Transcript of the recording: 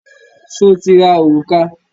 Sọ ti ra òrùka?